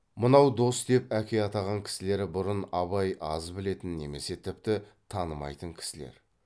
мынау дос деп әке атаған кісілері бұрын абай аз білетін немесе тіпті танымайтын кісілер